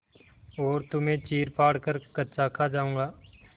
और तुम्हें चीरफाड़ कर कच्चा खा जाऊँगा